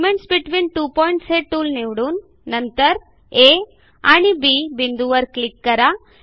segments between two points हे tool निवडून नंतर आ आणि बी बिंदूंवर क्लिक करा